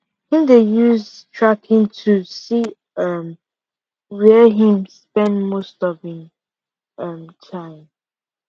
him dey use time tracking tools see um where him spend most of him um time